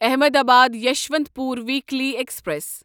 Ahmedabad Yesvantpur weekly express